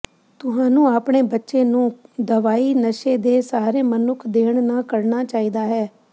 ਤੁਹਾਨੂੰ ਆਪਣੇ ਬੱਚੇ ਨੂੰ ਦਵਾਈ ਨਸ਼ੇ ਦੇ ਸਾਰੇ ਮਨੁੱਖ ਦੇਣ ਨਾ ਕਰਨਾ ਚਾਹੀਦਾ ਹੈ